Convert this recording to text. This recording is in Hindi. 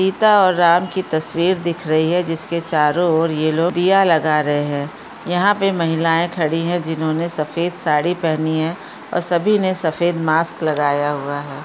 सीता और राम की तस्वीर दिख रही है। जिसके चारो और ये लोग दिया लगा रहें हैं। यहां पे महिलाए खड़ी है जिन्होंने सफेद साड़ी पेहनी है और सभी ने सफेद मास्क लगाया हुआ है।